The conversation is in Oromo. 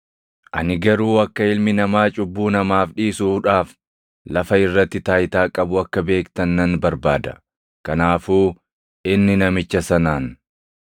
Ani garuu akka Ilmi Namaa cubbuu namaaf dhiisuudhaaf lafa irratti taayitaa qabu akka beektan nan barbaada.” Kanaafuu inni namicha sanaan,